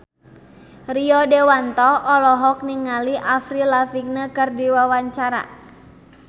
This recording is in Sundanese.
Rio Dewanto olohok ningali Avril Lavigne keur diwawancara